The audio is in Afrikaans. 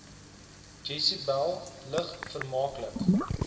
jesebel lig vermaaklik